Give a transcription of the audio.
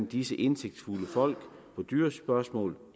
disse indsigtsfulde folk i dyrespørgsmål